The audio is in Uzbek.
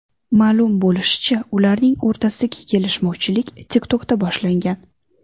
Ma’lum bo‘lishicha, ularning o‘rtasidagi kelishmovchilik TikTok’da boshlangan.